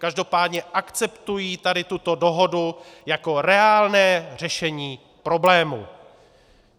Každopádně akceptují tady tuto dohodu jako reálné řešení problému.